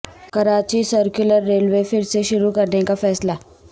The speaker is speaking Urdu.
کراچی سرکلر ریلوے پھر سے شروع کرنے کا فیصلہ